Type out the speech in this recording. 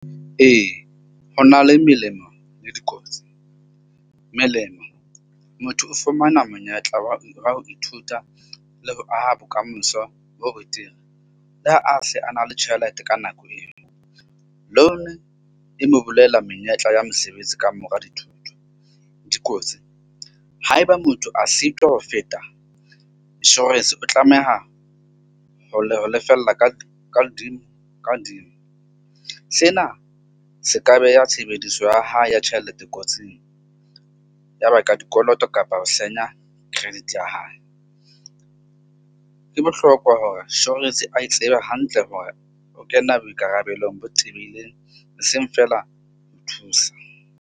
Ee, ho na le melemo le dikotsi. Melemo, motho o fumana monyetla wa ho ithuta le ho aha bokamoso bo betere le ha a se a na le tjhelete ka nako eo, e mo bolela menyetla ya mosebetsi ka mora dithuto dikotsi. Haeba motho a sitwa ho feta insurance, o tlameha ho lefella ka ka hodimo . Sena se ka beha tshebediso ya hae ya tjhelete kotsing. Ya ba ka dikoloto kapa ho senya credit ya hae. Ke bohlokwa hore a tsebe hantle hore o kena boikarabelong bo tebileng. Hoseng feela o thusa.